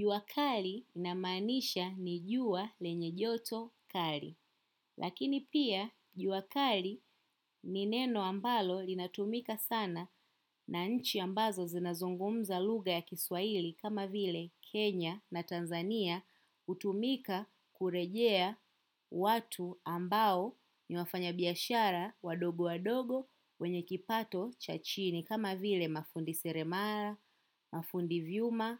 Juakali inamaanisha ni juwa lenye joto kali. Lakini pia juakali ni neno ambalo linatumika sana na nchi ambazo zinazungumza lugha ya kiswaili kama vile Kenya na Tanzania hutumika kurejea watu ambao ni wafanya biashara wadogo wadogo wenye kipato chachini kama vile mafundi seremara, mafundi vyuma.